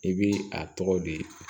I bi a tɔgɔ di